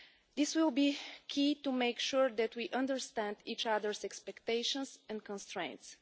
This will be key to making sure that we understand each other's expectations and constraints.